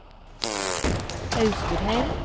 Austrheim